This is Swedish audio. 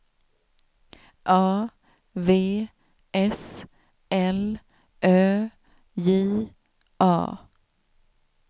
A V S L Ö J A